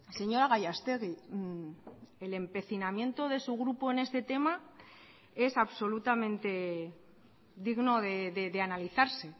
señora gallastegui el empecinamiento de su grupo en este tema es absolutamente digno de analizarse